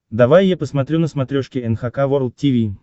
давай я посмотрю на смотрешке эн эйч кей волд ти ви